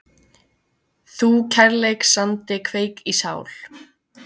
þú kærleiksandi kveik í sál